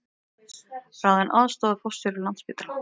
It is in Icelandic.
Ráðinn aðstoðarforstjóri Landspítala